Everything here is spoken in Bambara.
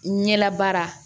Ɲɛla baara